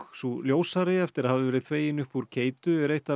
sú ljósari eftir að hafa verið þvegin upp úr keytu er eitt af